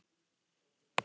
við segjum til dæmis